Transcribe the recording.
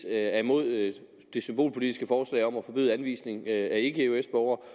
er imod det symbolpolitiske forslag om at forbyde anvisning af ikke eøs borgere